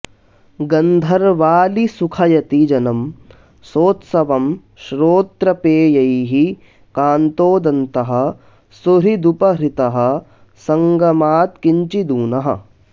गन्धर्वाली सुखयति जनं सोत्सवं श्रोत्रपेयैः कान्तोदन्तः सुहृदुपहृतः सङ्गमात्किञ्चिदूनः